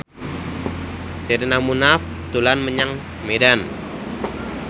Sherina Munaf dolan menyang Medan